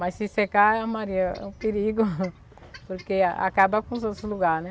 Mas se secar a maria, é um perigo, porque acaba com os outros lugares, né?